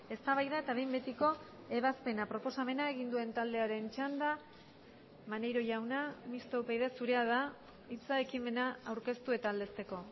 eztabaida eta behin betiko ebazpena proposamena egin duen taldearen txanda maneiro jauna mistoa upyd zurea da hitza ekimena aurkeztu eta aldezteko